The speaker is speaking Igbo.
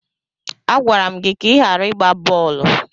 Agwara m gị ka ị ghara ịgba bọọlụ!